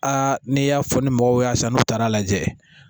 Aa n'i y'a fɔ ni mɔgɔw y'a san n'u taara lajɛ